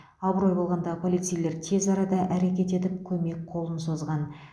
абырой болғанда полицейлер тез арада әрекет етіп көмек қолын созған